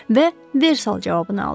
Və Versal cavabını aldı.